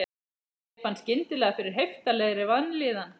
Ég fann skyndilega fyrir heiftarlegri vanlíðan.